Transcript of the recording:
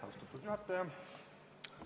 Austatud juhataja!